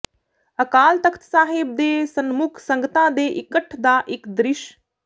ਅਕਾਲ ਤਖਤ ਸਾਹਿਬ ਦੇ ਸਨਮੁਖ ਸੰਗਤਾਂ ਦੇ ਇਕੱਠ ਦਾ ਇਕ ਦ੍ਰਿਸ਼